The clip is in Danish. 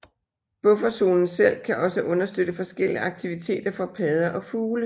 Bufferzonen selv kan også understøtte forskellige aktiviteter for padder og fugle